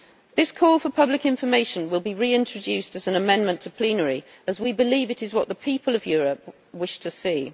This call for public information will be reintroduced as an amendment before plenary, as we believe it is what the people of Europe wish to see.